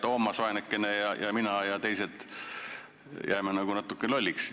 Toomas, vaeseke, ja mina ja teised jääme nagu natukene lolliks.